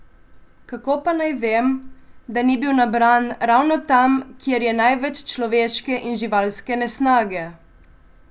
Kako pa naj vem, da ni bil nabran ravno tam, kjer je največ človeške in živalske nesnage?